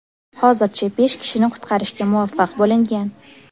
Hozircha besh kishini qutqarishga muvaffaq bo‘lingan.